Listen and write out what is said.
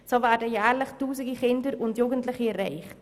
So werden jährlich Tausende Kinder und Jugendliche erreicht.